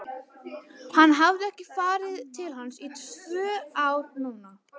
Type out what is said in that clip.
Hann hafði ekki farið til hans í tvö ár núna.